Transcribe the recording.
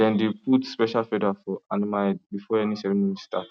dem dey put special feather for animal head before any ceremony start